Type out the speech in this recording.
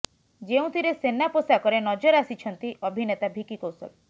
ଯେଉଁଥିରେ ସେନା ପୋଷାକରେ ନଜର ଆସିଛନ୍ତି ଅଭିନେତା ଭିକି କୌଶଲ୍